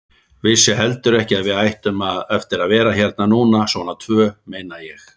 Vissi heldur ekki að við ættum eftir að vera hérna núna. svona tvö, meina ég.